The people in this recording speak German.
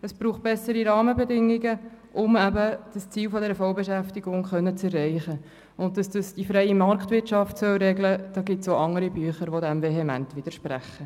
Es braucht bessere Rahmenbedingungen, um eben das Ziel dieser Vollbeschäftigung erreichen zu können, und dass das die freie Marktwirtschaft regeln soll, dazu gibt es auch andere Bücher, die dem vehement widersprechen.